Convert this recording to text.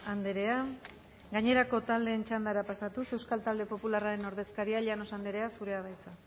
andrea gainerako taldeen txandara pasatuz euskal talde popularraren ordezkaria llanos andrea zurea da hitza